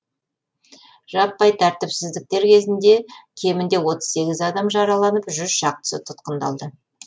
жаппай тәртіпсіздіктер кезінде кемінде отыз сегіз адам жараланып жүз шақтысы тұтқындалды